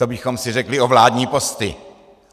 To bychom si řekli o vládní posty.